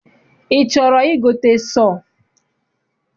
I chọrọ igote sọọ?